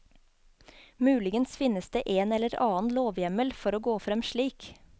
Muligens finnes det en eller annen lovhjemmel for å gå frem slik.